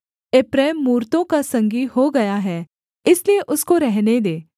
एप्रैम मूरतों का संगी हो गया है इसलिए उसको रहने दे